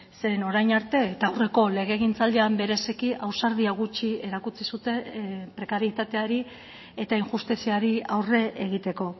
zeren orain arte eta aurreko legegintzaldian bereziki ausardia gutxi erakutsi zuten prekarietateari eta injustiziari aurre egiteko